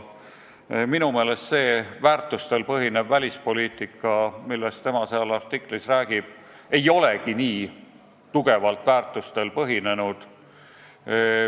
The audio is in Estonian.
Minu meelest see väärtustel põhinev välispoliitika, millest tema selles artiklis räägib, ei olegi nii kindlalt väärtustel põhinenud.